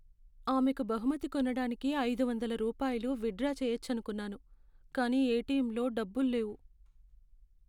ఆమెకు బహుమతి కొనడానికి ఐదు వందల రూపాయలు విత్డ్రా చేయొచ్చనుకున్నాను, కానీ ఎటిఎంలో డబ్బుల్లేవు.